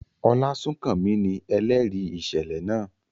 Olasunkanmi ni ẹlẹri iṣẹlẹ naa.